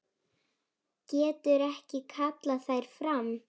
Getur ekki kallað þær fram.